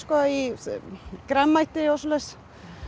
grænmeti og svoleiðis